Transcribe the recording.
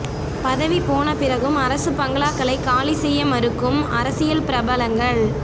பதவி போன பிறகும் அரசு பங்களாக்களை காலி செய்ய மறுக்கும் அரசியல் பிரபலங்கள்